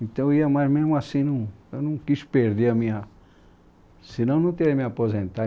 Então eu ia, mas mesmo assim não, eu não quis perder a minha... Senão eu não teria me aposentado.